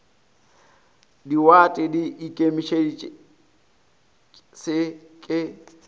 diwate di ikemetše se ke